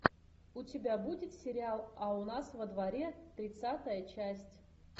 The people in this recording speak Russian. у тебя будет сериал а у нас во дворе тридцатая часть